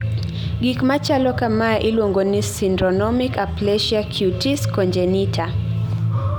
gik machalo kamae iluongo ni syndromic aplasia cutis congenita